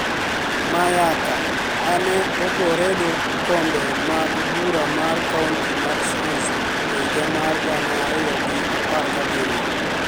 Mayaka, mane ogoredo kombe mag bura mar kaonti mar Shanzu e higa mar gana ariyo gi apar gabiriyo,